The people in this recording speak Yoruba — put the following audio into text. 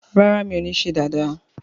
ràrá mi'o ní ṣe Dàda